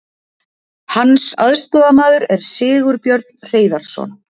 Hans aðstoðarmaður er Sigurbjörn Hreiðarsson.